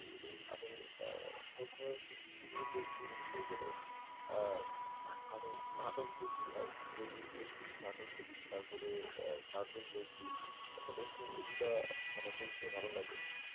আমি আহ প্রথমে youtube এ গেলে youtube এ গেলে আহ আমি নাটক দেখি আর বেশি, বেশি বেশি নাটক দেখি তারপরে আহ cartoon দেখি আসলে একটু এগুলা মানে দেখতে ভালো লাগে